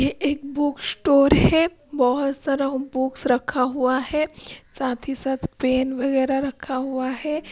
ये book store है बहुत सारा बुक्स रखा हुआ है साथ ही साथ पेन वगैरह रखा हुआ है।